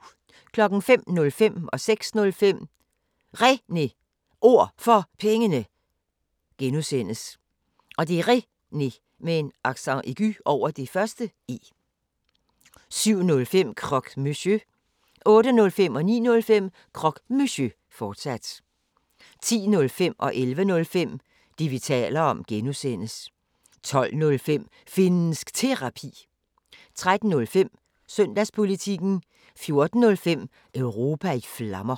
05:05: Réne Ord For Pengene (G) 06:05: Réne Ord For Pengene (G) 07:05: Croque Monsieur 08:05: Croque Monsieur, fortsat 09:05: Croque Monsieur, fortsat 10:05: Det, vi taler om (G) 11:05: Det, vi taler om (G) 12:05: Finnsk Terapi 13:05: Søndagspolitikken 14:05: Europa i Flammer